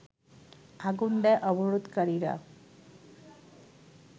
আগুন দেয় অবরোধকারীরা